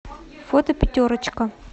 фото пятерочка